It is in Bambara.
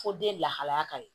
Fo den lahalaya ka ɲi